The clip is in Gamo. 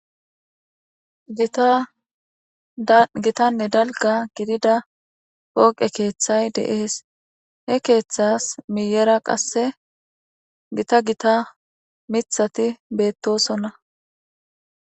Gittanne dalgga gidida poqqe keeththay de'es. He keeththas miyera qasse giita gitta miththati bettosona.